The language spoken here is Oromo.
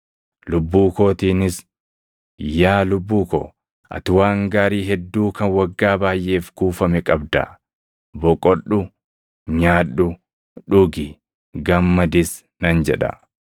Lubbuu kootiinis, “Yaa lubbuu ko, ati waan gaarii hedduu kan waggaa baayʼeef kuufame qabda; boqodhu; nyaadhu; dhugi; gammadis” nan jedha.’